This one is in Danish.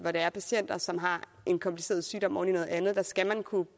her patienter som har en kompliceret sygdom oven i noget andet skal kunne